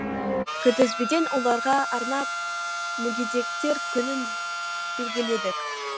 күнтізбеден оларға арнап мүгедектер күнін белгіледік